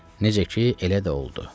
Necə ki, elə də oldu.